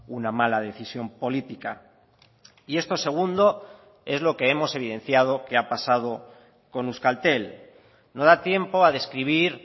una mala decisión política y esto segundo es lo que hemos evidenciado que ha pasado con euskaltel no da tiempo a describir